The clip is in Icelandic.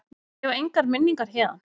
Ég á engar minningar héðan.